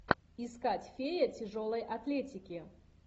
искать фея тяжелой атлетики